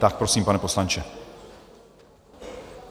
Tak prosím, pane poslanče.